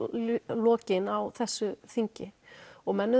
lokin á þessu þingi og menn